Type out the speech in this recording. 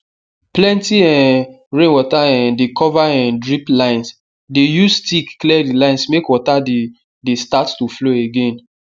plenty um rain water um dey cover um drip linesdey use stick clear the lines make water dey dey start to flow again